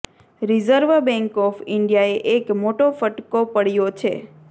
reserve bank of ઈન્ડિયાએ એક મોટો ફટકો પડ્યો છે